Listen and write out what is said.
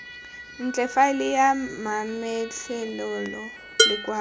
ntle faele ya mametlelelo lekwalo